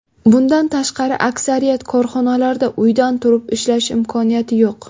Bundan tashqari aksariyat korxonalarda uydan turib ishlash imkoniyati yo‘q.